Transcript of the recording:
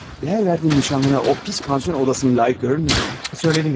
Dəyər verdiyin nişanlını o pis pansionat odasına layiq görürmüydün, hə?